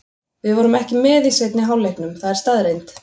Við vorum ekki með í seinni hálfleiknum, það er staðreynd.